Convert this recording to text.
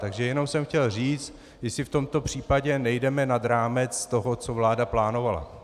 Takže jenom jsem chtěl říct, jestli v tomto případě nejdeme nad rámec toho, co vláda plánovala.